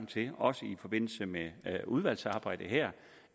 til også i forbindelse med udvalgsarbejdet her